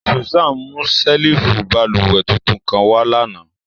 Susan mu ṣẹ́lífù bálúwẹ̀ tuntun kan wà lánà.